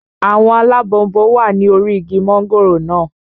Àwọn alábọnbon wà ní orí igi mọ́ngòrò naa